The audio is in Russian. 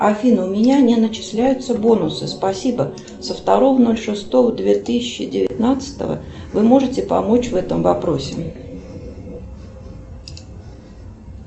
афина у меня не начисляются бонусы спасибо со второго ноль шестого две тысячи девятнадцатого вы можете помочь в этом вопросе